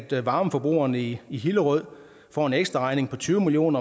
at varmeforbrugerne i i hillerød får en ekstraregning på tyve million